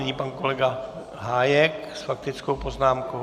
Nyní pan kolega Hájek s faktickou poznámkou.